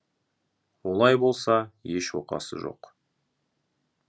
олай болса еш оқасы жоқ